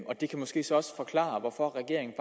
og det kan måske så også forklare hvorfor regeringen